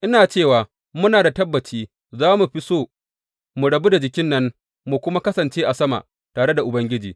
Ina cewa muna da tabbaci, za mu fi so mu rabu da jikin nan, mu kuma kasance a sama tare da Ubangiji.